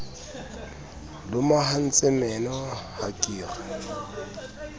lomahantse meno ha ke re